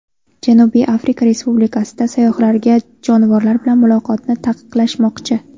Janubiy Afrika Respublikasida sayyohlarga jonivorlar bilan muloqotni taqiqlashmoqchi.